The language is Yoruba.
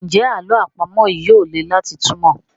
Njé àlọ́ àpamọ̀ yí yóò lẹ láti túmọ?